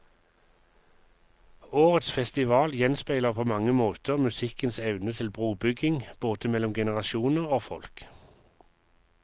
Årets festival gjenspeiler på mange måter musikkens evne til brobygging, både mellom generasjoner og folk.